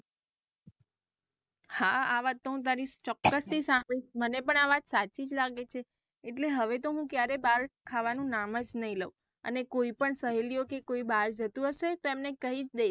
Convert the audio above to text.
હા વાત તું હું તારી ચોક્કસ થી મને પણ આવત સાચી જ લાગે છે એટલે હવે તો હું ક્યારે બાર ખાવાનું નામ જ નહિ લાઉ અને કોઈ પણ સહેલીઓ કે કોઈ બાર જતું હશે તો એમને કઈ જ .